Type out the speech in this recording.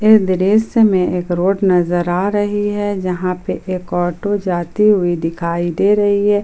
इस दृश्य में एक रोड नजर आ रही है यहां पे एक ऑटो जाती हुई दिखाई दे रही है।